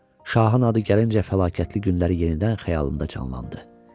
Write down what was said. Şahın adı gəlincə fəlakətli günləri yenidən xəyalında canlandı.